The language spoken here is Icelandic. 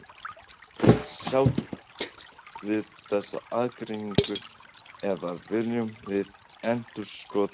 Erum við sátt við þessa aðgreiningu eða viljum við endurskoða hana?